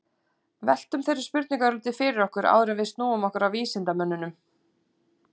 veltum þeirri spurningu örlítið fyrir okkur áður en við snúum okkur að vísindamönnunum